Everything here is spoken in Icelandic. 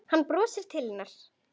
Hún brosir til hennar.